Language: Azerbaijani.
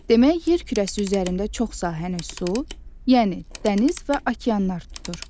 Demək yer kürəsi üzərində çox sahəni su, yəni dəniz və okeanlar tutur.